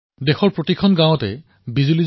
দেশৰ প্ৰতিখন গাঁৱত বিদ্যুৎ উপলব্ধ হৈছে